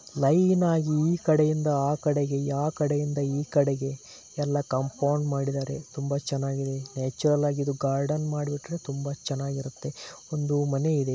Line ಆಗಿ ಈ ಕಡೆಗಯಿಂದ ಆ ಕಡೆಗೆ ಆ ಕಡೆಯಿಂದ ಈ ಕಡಿಗೆ ಎಲ್ಲ ಕಾಂಪೌಂಡ್ ಮಾಡಿದರೆ ತುಂಬಾ ಚೆನ್ನಾಗಿದೆ ನ್ಯಾಚುರಲ ಯಾಗಿ ಗಾರ್ಡನ್ ಮಾಡಕ್ಕೆ ತುಂಬಾ ಚೆನ್ನಾಗಿರುತ್ತೆ ಒಂದು ಮನೆ ಇದೆ.